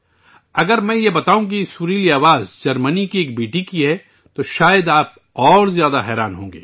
اگر میں آپ کو بتاؤں کہ یہ سریلی آواز جرمنی سے تعلق رکھنے والی ایک بیٹی کی ہے تو شاید آپ کو اس سے بھی زیادہ حیرت ہوگی